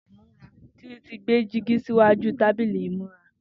Titi ti gbé dìgí siwàjú tàbílì imúrà